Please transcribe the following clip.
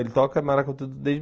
Ele toca maracatu desde